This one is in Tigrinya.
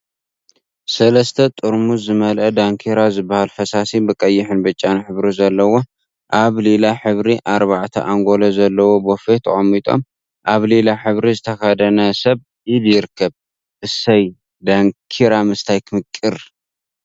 ሰለስተ ጠርሙዝ ዝመልአ ዳንኪራ ዝበሃል ፈሳሲ ብቀይሕን ብጫን ሕብሪ ዘለዎ አብ ሊላ ሕብሪ አርባዕተ አንጎሎ ዘለዎ ቦፌ ተቀሚጦም አብ ሊላ ሕብሪ ዝተከደነ ሰብ ኢድ ይርከቡ፡፡ እሰይ ዳንኪራ ምስታይ ክምቅር!